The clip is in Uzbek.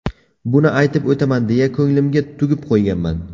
Buni aytib o‘taman deya ko‘nglimga tugib qo‘yganman.